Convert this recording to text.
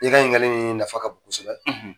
I ka ɲiningali nin nafa ka bon kosɛbɛ.